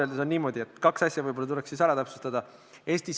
See on ikkagi üks ühiskassa, räige suveräänsuse ja rahvuslike huvide riivamine.